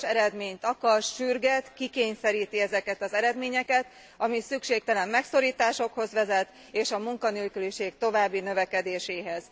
Gyors eredményt akar, sürget, kikényszeríti ezeket az eredményeket, ami szükségtelen megszorításokhoz vezet és a munkanélküliség további növekedéséhez.